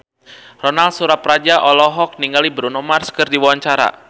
Ronal Surapradja olohok ningali Bruno Mars keur diwawancara